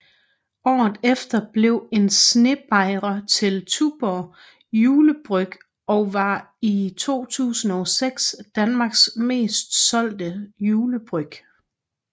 Året efter blev en snebajer til Tuborg Julebryg og var i 2006 Danmarks mest solgte julebryg